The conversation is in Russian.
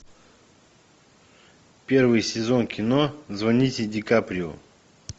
первый сезон кино звоните дикаприо